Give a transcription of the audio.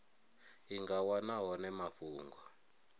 i nga wana hone mafhungo